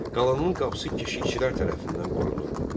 Qalanın qapısı keşikçilər tərəfindən qorunurdu.